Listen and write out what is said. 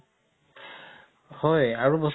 হয় আৰু বস্তু